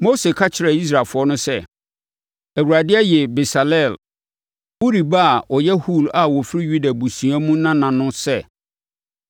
Mose ka kyerɛɛ Israelfoɔ no sɛ, “ Awurade ayi Besaleel, Uri ba a ɔyɛ Hur a ɔfiri Yuda abusua mu nana